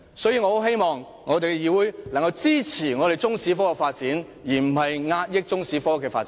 所以，我希望議會能夠支持中史科的發展，而不是壓抑中史科的發展。